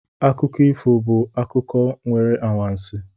Akụkọ ifo bụ akụkọ nwere anwansi